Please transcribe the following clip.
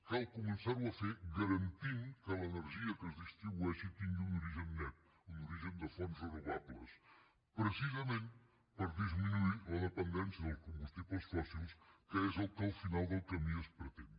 cal començar ho a fer garantint que l’energia que es distribueixi tingui un origen net un origen de fonts renovables precisament per disminuir la dependència dels combustibles fòssils que és el que al final del camí es pretén